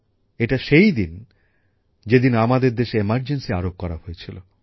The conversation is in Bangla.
এটি সেই দিন যেদিন আমাদের দেশে জরুরী অবস্থা আরোপ করা হয়েছিল